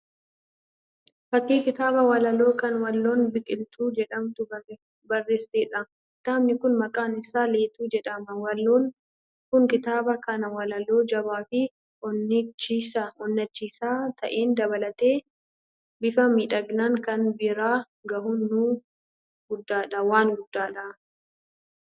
Fakkii kitaaba walaloo kan waloon Bikiltuu jedhamtu barreessiteedha. Kitaabni kun maqaan isaa Leetoo jedhama. Waloon kun kitaaba kana walaloo jabaa fi onnachiisa ta'een dabaaltee bifa miidhagaan saba biraan ga'uun wan guddaadha.